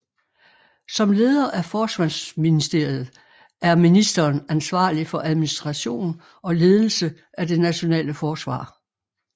Som leder af Forsvarsministeriet er ministeren ansvarlig for administration og ledelse af det nationale forsvar